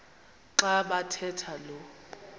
xa bathetha lo